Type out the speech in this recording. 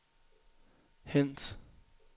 hent